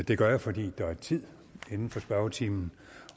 jeg gøre fordi der er tid inden for spørgetimen